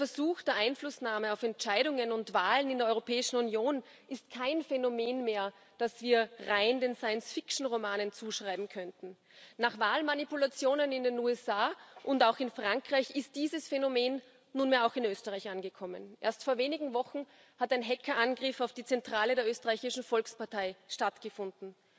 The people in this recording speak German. Der Versuch der Einflussnahme auf Entscheidungen und Wahlen in der Europäischen Union ist kein Phänomen mehr, das wir rein den Science Fiction Romanen zuschreiben könnten. Nach Wahlmanipulationen in den USA und auch in Frankreich ist dieses Phänomen nunmehr auch in Österreich angekommen. Erst vor wenigen Wochen hat ein Hackerangriff auf die Zentrale der Österreichischen Volkspartei stattgefunden.